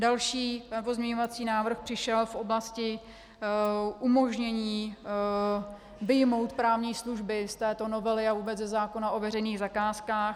Další pozměňovací návrh přišel v oblasti umožnění vyjmout právní služby z této novely a vůbec ze zákona o veřejných zakázkách.